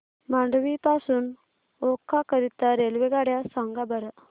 मांडवी पासून ओखा करीता रेल्वेगाड्या सांगा बरं